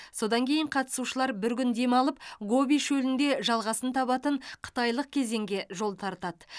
содан кейін қатысушылар бір күн демалып гоби шөлінде жалғасын табатын қытайлық кезеңге жол тартады